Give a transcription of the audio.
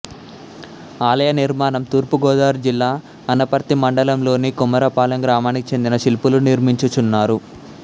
ఆలయ నిర్మాణం తూర్పుగోదావరి జిల్లా అనపర్తి మండలంలోని కొమరపాలెం గ్రామానికి చెందిన శిల్పులు నిర్మించుచున్నారు